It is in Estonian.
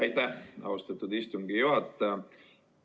Aitäh, austatud istungi juhataja!